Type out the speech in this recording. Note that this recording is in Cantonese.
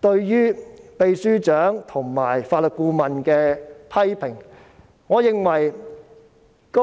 對秘書長和法律顧問十分實在的批評。